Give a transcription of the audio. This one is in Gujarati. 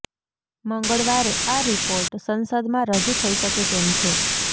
મંગળવારે આ રિપોર્ટ સંસદમાં રજૂ થઇ શકે તેમ છે